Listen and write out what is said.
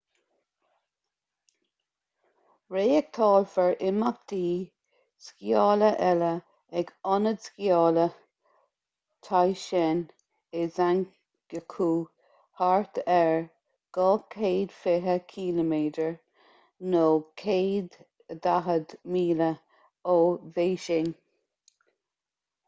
reáchtálfar imeachtaí sciála eile ag ionad sciála taizicheng i zhangjiakou thart ar 220 km 140 míle ó bhéising